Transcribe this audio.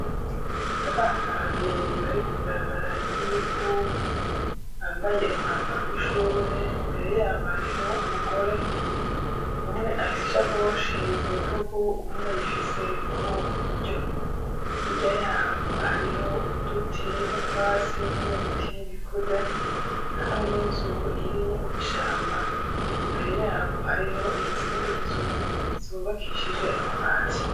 Abana babiri bari mw'ibarabara ryivu bambaye umwambaro w'ishure imbere yabo hariho umugore umwe afise isa koshi ku rutugu uwunda ayifise mu kuboko kw' buryo, hirya yabo hariho uduti mutwatsi n'ibiti bikuze hamwe n'inzu iri mw'ishamba, imbere yabo hariho iyi zindi nzu zubakishije amabati.